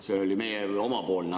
See oli meil omavaheline.